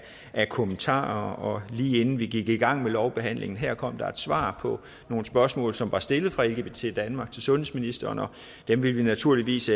af kommentarer og lige inden vi gik i gang med lovbehandlingen her kom der et svar på nogle spørgsmål som er stillet af lgbt danmark til sundhedsministeren og dem vil vi naturligvis